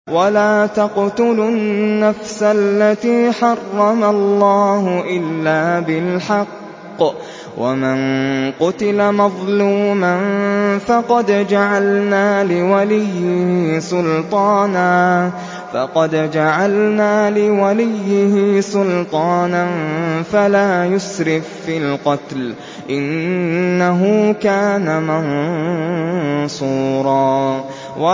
وَلَا تَقْتُلُوا النَّفْسَ الَّتِي حَرَّمَ اللَّهُ إِلَّا بِالْحَقِّ ۗ وَمَن قُتِلَ مَظْلُومًا فَقَدْ جَعَلْنَا لِوَلِيِّهِ سُلْطَانًا فَلَا يُسْرِف فِّي الْقَتْلِ ۖ إِنَّهُ كَانَ مَنصُورًا